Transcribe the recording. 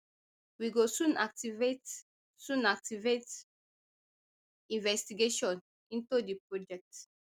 we go soon activate soon activate investigation into di project